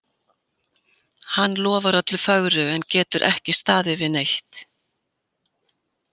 Hann lofar öllu fögru en getur ekki staðið við neitt.